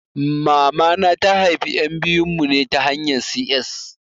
Mamana ta haifi ƴan biyun mu ne ta hanyan 'C.S'